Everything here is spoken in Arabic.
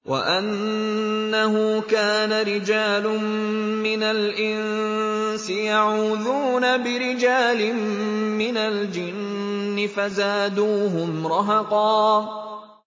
وَأَنَّهُ كَانَ رِجَالٌ مِّنَ الْإِنسِ يَعُوذُونَ بِرِجَالٍ مِّنَ الْجِنِّ فَزَادُوهُمْ رَهَقًا